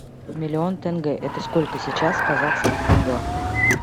миллион тенге это сколько сейчас в казахских тенге